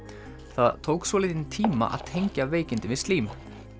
það tók svolítinn tíma að tengja veikindin við slím